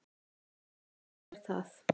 Jú það er